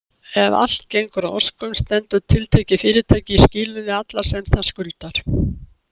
Ef allt gengur að óskum stendur tiltekið fyrirtæki í skilum við alla sem það skuldar.